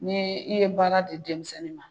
Ni i ye baara di denmisɛnnin ma